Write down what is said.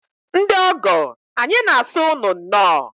Ndị ọgọ, anyị na-asị unu nnọọ.